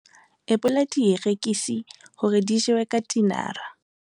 ebola dierekisi hore di jewe ka tinara